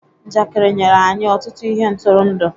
Njakịrị nyere anyị ọtụtụ ihe ntụrụndụ.